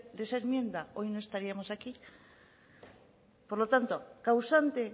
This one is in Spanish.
de esa enmienda hoy no estaríamos aquí por lo tanto causante